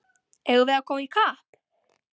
Eigum við að koma í kapp!